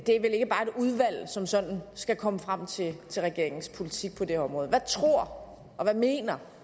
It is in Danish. det er vel ikke bare et udvalg som sådan skal komme frem til regeringens politik på det område hvad tror og hvad mener